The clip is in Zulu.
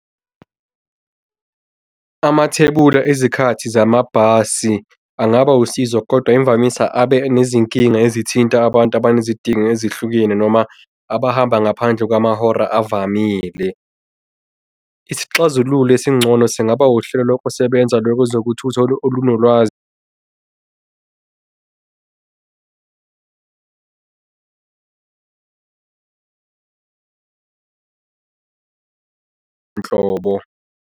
Amathebula ezikhathi zamabhasi angaba usizo, kodwa imvamisa abe nezinkinga ezithinta abantu abanezidingo ezihlukene noma abahamba ngaphandle kwamahora evamile. Isixazululo esingcono singaba uhlelo lokusebenza lezokuthutha olunolwazi nhlobo.